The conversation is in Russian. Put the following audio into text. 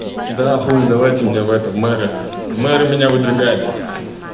да хули давайте меня в этом мэры в мэры меня выдвигайте